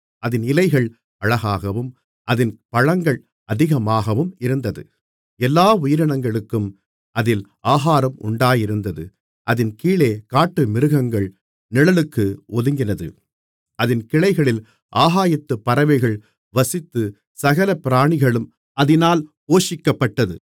அதின் இலைகள் அழகாகவும் அதின் பழங்கள் அதிகமாகவும் இருந்தது எல்லா உயிரினங்களுக்கும் அதில் ஆகாரம் உண்டாயிருந்தது அதின் கீழே காட்டுமிருகங்கள் நிழலுக்கு ஒதுங்கினது அதின் கிளைகளில் ஆகாயத்துப் பறவைகள் வசித்துச் சகல பிராணிகளும் அதினால் போஷிக்கப்பட்டது